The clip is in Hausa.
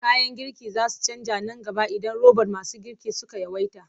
Kayan girki za su canja nan gaba idan robot masu girki suka yawaita.